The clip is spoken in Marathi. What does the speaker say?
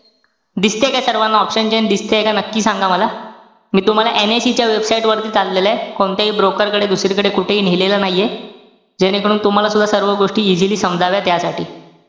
दिसतेय का सर्वाना option chain, दिसतेय का नक्की सांगा मला. मी तुम्हाला NIC च्या website वरती चाललोय. कोणत्याही broker कडे, दुसरीकडे कुठेही नेलेलं नाहीये. जेणेकरून तुम्हाला सुद्धा सर्व गोष्टी easily समजाव्या त्यासाठी.